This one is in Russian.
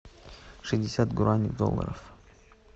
шестьдесят гуарани в долларах